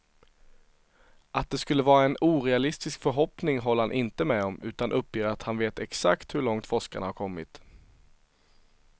Att det skulle vara en orealistisk förhoppning håller han inte med om, utan uppger att han vet exakt hur långt forskarna har kommit.